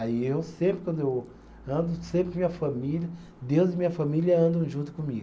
Aí eu sempre, quando eu ando, sempre minha família, Deus e minha família andam junto comigo.